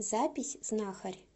запись знахарь